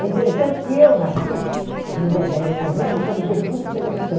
É interessante que eu nasci hum no dia dez de novembro, quando Getúlio fez a condição.